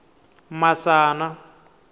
masana